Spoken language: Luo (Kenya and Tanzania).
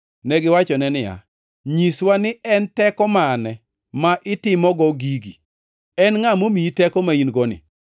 Negiwachone niya, “Nyiswa ni en teko mane ma itimogo gigi. En ngʼa momiyi teko ma in-goni?”